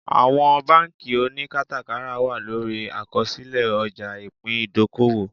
Àwọn bánkì oníkátàkárà wà lórí àkọsílẹ̀ ọjà ìpín ìdókòwò